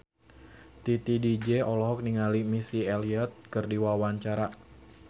Titi DJ olohok ningali Missy Elliott keur diwawancara